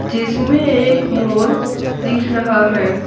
जिसमें एक मोर दिख रहा है।